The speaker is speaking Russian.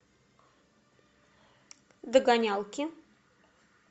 догонялки